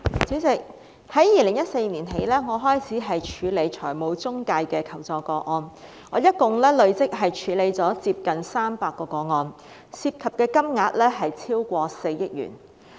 主席，我從2014年起開始處理財務中介的求助個案，累積處理了接近300宗，涉及金額超過4億元。